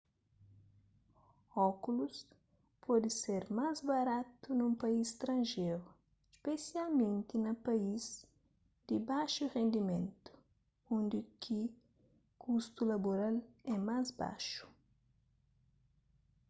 ókulus pode ser más baratu nun país stranjeru spesialmenti na país di baxu rendimentu undi ki kustu laboral é más baxu